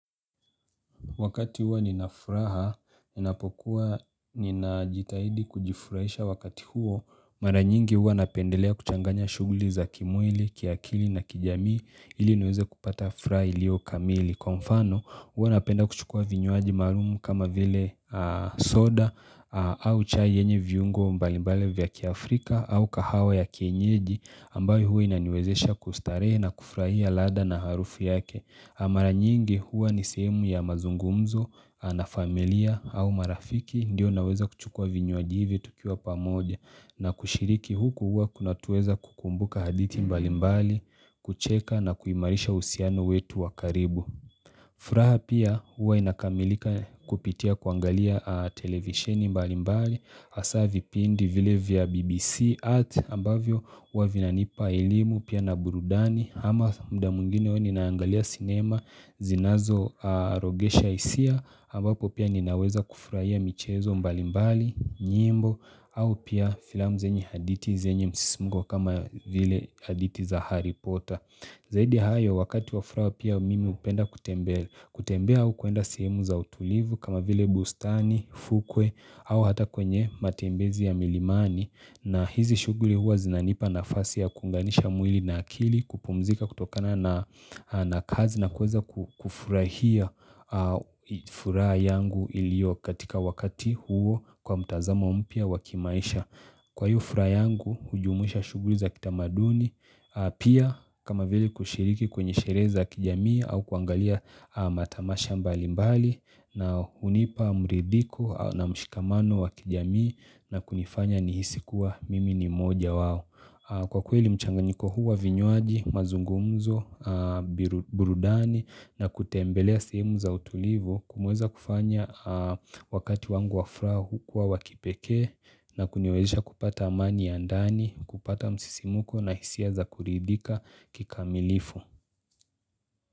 Wakati huwa ninafuraha, ninapokuwa ninajitahidi kujifurahisha wakati huo, mara nyingi huwa napendelea kuchanganya shuguli za kimwili, kiakili na kijamii ili niweze kupata furaha ilio kamili. Kwa mfano huwa napenda kuchukua vinyuaji marumu kama vile soda au chai yenye viungo mbalimbale vya kiafrika au kahawa ya kienyeji ambayo huwa inaniwezesha kustarehe na kufurahia ladha na harufu yake. Na mara nyingi huwa ni sehemu ya mazungumzo, na familia au marafiki ndio naweza kuchukua vinywaji ivi tukiwa pamoja na kushiriki huku huwa kuna tuweza kukumbuka haditi mbali mbali, kucheka na kuimarisha usiano wetu wakaribu. Furaha pia huwa inakamilika kupitia kuangalia televisheni mbali mbali asavi pindi vile vya BBC art ambavyo uwa vinanipa ilimu pia na burudani ama muda mwingine huwa ninaangalia cinema zinazo arogesha isia ambapo pia ninaweza kufurahia michezo mbali mbali nyimbo au pia film zenye haditi zenye msisimungo kama vile haditi za haripota Zaidi hayo wakati wa furaha pia mimi upenda kutembea au kuenda sehemu za utulivu kama vile bustani, fukwe au hata kwenye matembezi ya milimani na hizi shuguli huwa zinanipa nafasi ya kunganisha mwili na akili kupumzika kutokana na kazi na kuweza kufurahia furaha yangu ilio katika wakati huo kwa mtazamo mpia wa kimaisha. Kwa yufra yangu hujumuisha shuguri za kitamaduni, pia kama vile kushiriki kwenye sherehe kijamii au kuangalia matamasha mbali mbali na hunipa mridhiko na mshikamano wa kijamii na kunifanya nihisikuwa mimi ni moja wao. Kwa kweli mchanganiko huwa vinywaji, mazungumzo, burudani na kutembelea sehemu za utulivu kumuweza kufanya wakati wangu wa furaha kwa wakipekee na kuniwezisha kupata amani ya ndani, kupata msisimuko na hisia za kuridhika kikamilifu.